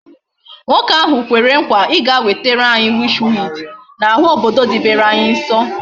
Nwoke ahu kwere nkwa I ga wetere anyi witch weed na ahu obodo didebere anyi nso